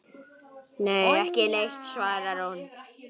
Nei, ekki neitt svarar hún.